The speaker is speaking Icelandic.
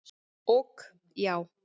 Ok, já?